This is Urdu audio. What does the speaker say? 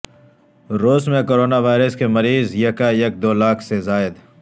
روس میں کرونا وائرس کے مریض یکایک دو لاکھ سے زائد